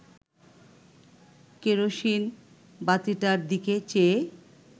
kerosene বাতিটার দিকে চেয়ে